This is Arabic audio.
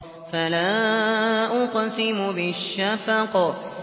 فَلَا أُقْسِمُ بِالشَّفَقِ